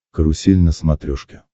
карусель на смотрешке